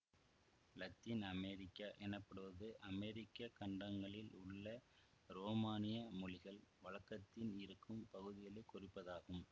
இலத்தீன் அமெரிக்கா எனப்படுவது அமெரிக்க கண்டங்களில் உள்ள ரோமானிய மொழிகள் வழக்கத்தில் இருக்கும் பகுதிகளை குறிப்பதாகும்